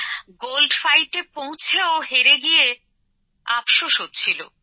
gold ফাইটে পৌঁছেও হেরে গিয়ে আপশোষ হচ্ছিল